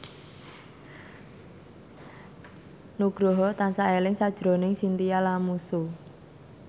Nugroho tansah eling sakjroning Chintya Lamusu